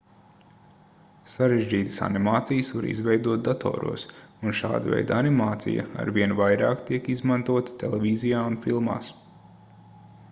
sarežģītas animācijas var izveidot datoros un šāda veida animācija arvien vairāk tiek izmantota televīzijā un filmās